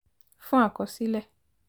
fún àkọsílẹ̀